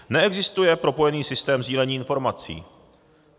Neexistuje propojený systém sdílení informací.